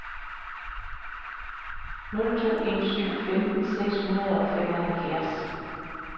nul to en syv femten seks hundrede og femoghalvfjerds